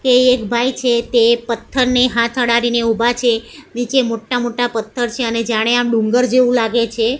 તે એક ભાઈ છે તે પથ્થરને હાથ અડાડી ને ઊભા છે નીચે મોટા મોટા પથ્થર છે અને જાણે આ ડુંગર જેવું લાગે છે.